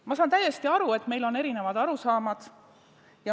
Ma saan täiesti aru, et meil on erinevad arusaamad.